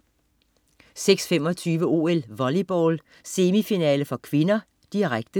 06.25 OL: Volleyball, semifinale (k), direkte